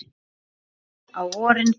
En á vorin kann